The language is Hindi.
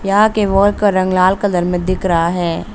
यहां के वॉल का रंग लाल कलर में दिख रहा है।